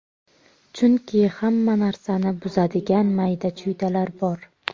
Chunki hamma narsani buzadigan mayda-chuydalar bor.